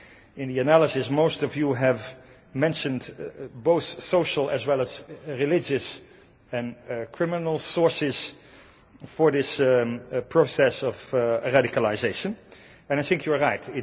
In the analysis, most of you have mentioned both social as well as religious and criminal sources for this process of a radicalisation, and I think you are right.